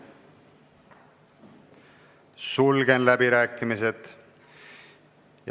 Sulgen läbirääkimised.